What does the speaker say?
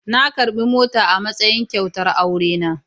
Na karbi mota a matsayin kyautar aurena.